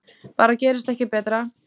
Bara gerist ekki betra!